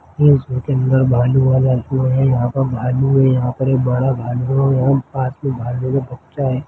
इसमें के अंदर एक भालू हैं भालू सोये हैं एक बड़ा भालू हैं और पास में भालू का बच्चा हैं।